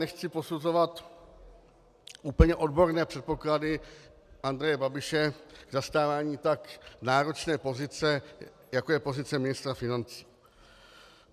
Nechci posuzovat úplně odborné předpoklady Andreje Babiše k zastávání tak náročné pozice, jako je pozice ministra financí.